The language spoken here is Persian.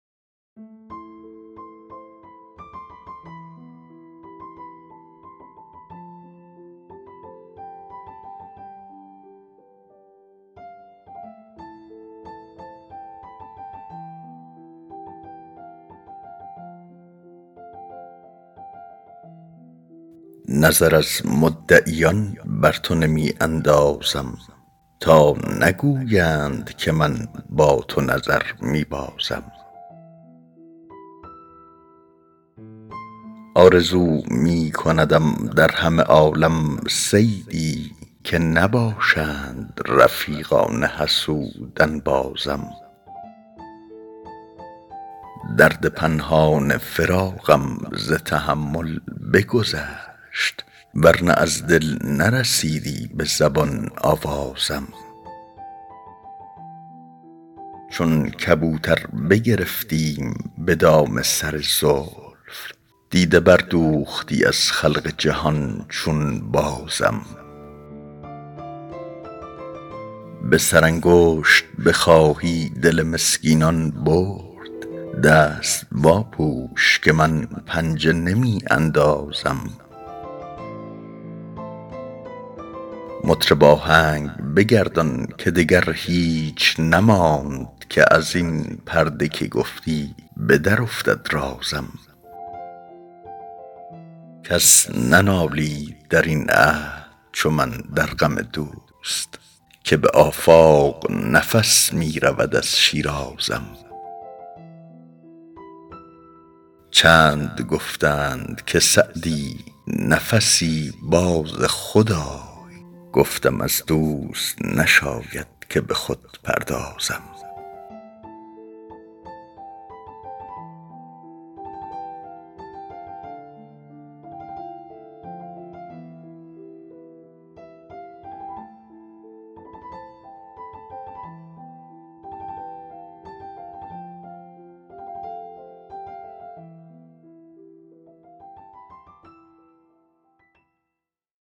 نظر از مدعیان بر تو نمی اندازم تا نگویند که من با تو نظر می بازم آرزو می کندم در همه عالم صیدی که نباشند رفیقان حسود انبازم درد پنهان فراقم ز تحمل بگذشت ور نه از دل نرسیدی به زبان آوازم چون کبوتر بگرفتیم به دام سر زلف دیده بردوختی از خلق جهان چون بازم به سرانگشت بخواهی دل مسکینان برد دست واپوش که من پنجه نمی اندازم مطرب آهنگ بگردان که دگر هیچ نماند که از این پرده که گفتی به درافتد رازم کس ننالید در این عهد چو من در غم دوست که به آفاق نظر می رود از شیرازم چند گفتند که سعدی نفسی باز خود آی گفتم از دوست نشاید که به خود پردازم